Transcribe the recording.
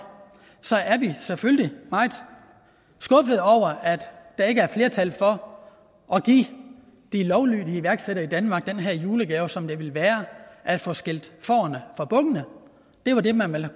er vi selvfølgelig meget skuffede over at der ikke er flertal for at give de lovlydige iværksættere i danmark den her julegave som det ville være at få skilt fårene fra bukkene det var det man ville